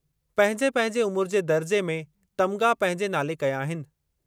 पंहिंजे पंहिंजे उमिरि जे दर्जे में तमिग़ा पंहिंजे नाले कया आहिनि।